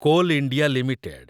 coal India limited